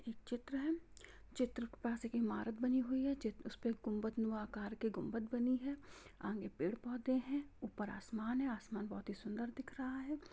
एक चित्र है चित्र के पास एक इमारत बनी हुई है चित्र उस पे कुम्बद नुमा आकार के कुम्बद बनी है आगे पेड़ पौधे है ऊपर आसमान है आसमान बहुत ही सुंदर दिख रहा है।